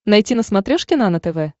найти на смотрешке нано тв